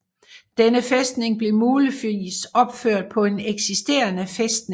Denne fæstning blev muligvis opført på en eksisterende fæstning